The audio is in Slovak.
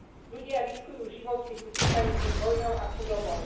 Ľudia riskujú život, keď utekajú pred vojnou a chudobou.